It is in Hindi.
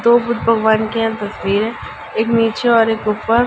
दो बुद्ध भगवान की यहाँ तस्वीर है एक नीचे और एक ऊपर।